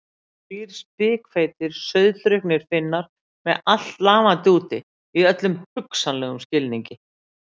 Þrír spikfeitir, sauðdrukknir Finnar með allt lafandi úti, í öllum hugsanlegum skilningi.